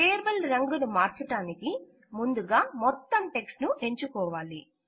table రంగును మార్చడానికి ముందుగా మొత్తం టెక్ట్స్ ను ఎంచుకోవాలి